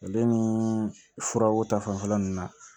Ale ni furaw ta fanfɛla ninnu na